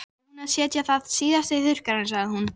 Ég tek eftir fínum rispum á handarbaki hennar.